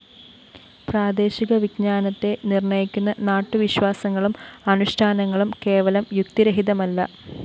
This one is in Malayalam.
പ്രാദേശിക വിജ്ഞാനത്തെ നിര്‍ണ്ണയിക്കുന്ന നാട്ടുവിശ്വാസങ്ങളും അനുഷ്ഠാനങ്ങളും കേവലം യുക്തിരഹിതമല്ല